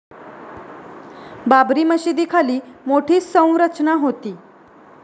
बाबरी मशीदीखाली मोठी संरचना होती.